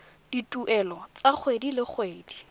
dituelo tsa kgwedi le kgwedi